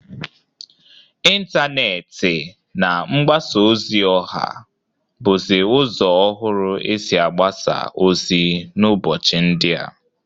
Intaneeti na mgbasa ozi ọha bụzị ụzọ ọhụrụ esi agbasa ozi n'ụbọchị ndịa.